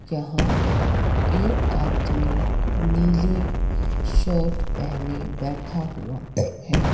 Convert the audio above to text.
जहाँ एक आदमी नीले शर्ट पहने बैठा हुआ है।